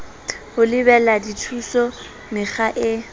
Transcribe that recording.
ho lebela dithuso mekga e